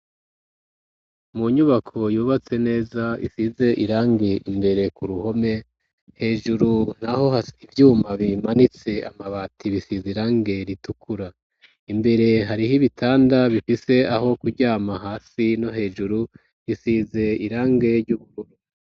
Mu nyubako yubatse neza isize irangi imbere ku ruhome, hejuru naho hari ivyuma bimanitse amabati bisize irangi ritukura, imbere hariho ibitanda bifise aho kuryama hasi no hejuru bisize irangi ry'ubururu.